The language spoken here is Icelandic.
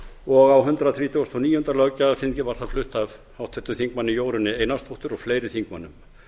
og á hundrað þrítugasta og níunda löggjafarþingi var það flutt af háttvirtum þingmanni jórunni einarsdóttur og fleiri þingmönnum